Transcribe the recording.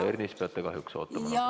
Härra Ernits, peate kahjuks ootama.